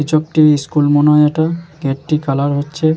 কিছু একটি-ই স্কুল মনে হয় এটা। গেট -টি কালার হচ্ছে --